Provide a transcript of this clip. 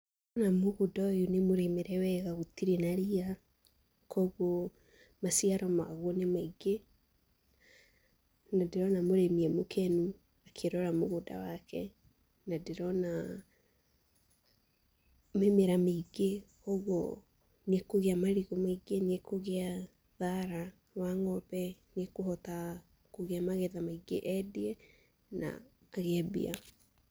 Na mũgũnda ũyũ nĩmũrĩmĩre wega gũtirĩ na ria, kuoguo, maciaro maguo nĩmaingĩ, na ndĩrona mũrĩmi e mũkenu, akĩrora mũgũnda wake, na ndĩrona mĩmera mĩingĩ, kwoguo, nĩekũgĩa marigũ maingĩ, nĩekũgĩa thara wa ng'ombe, nĩekũhota, kũgĩa magetha maingĩ endie, na agĩe mbia.